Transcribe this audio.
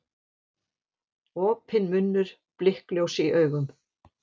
Opinn munnur, blikkljós í augum.